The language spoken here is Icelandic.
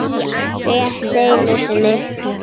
Rétt einu sinni.